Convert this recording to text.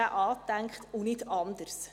so ist er angedacht und nicht anders.